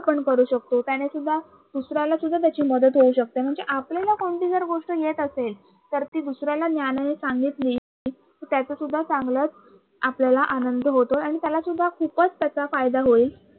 आपण करू शकतो त्याने सुद्धा दुसऱ्याला सुद्धा त्याची मदत होऊ शकते. म्हणजे आपल्याला कोणती गोष्ट जर येत असेल तर ती दुसऱ्याला ज्ञान हि सांगितली त्याचासुद्धा चांगलाच आपल्याला आनंद होतो आणि त्यालासुद्धा खूपच त्याचा फायदा होईल.